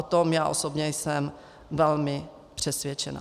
O tom já osobně jsem velmi přesvědčena.